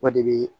O de be